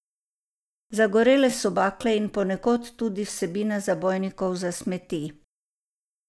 Zagorele so bakle in ponekod tudi vsebina zabojnikov za smeti.